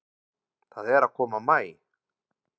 Það er að koma maí.